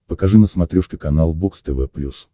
покажи на смотрешке канал бокс тв плюс